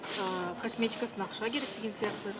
ы косметикасына ақша керек деген сияқты